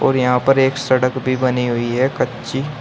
और यहां पर एक सड़क भी बनी हुई है कच्ची।